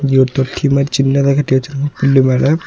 இங்க ஒரு தொட்டி மாரி சின்னதா கட்டிவச்சிருக்காங்க பில்லு மேல.